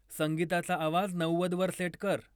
संगीताचा आवाज नव्वद वर सेट कर